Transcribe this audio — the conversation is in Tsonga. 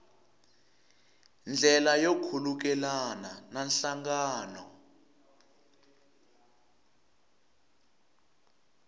ndlela yo khulukelana na nhlangano